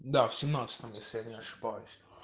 да в семнадцатом если я не ошибаюсь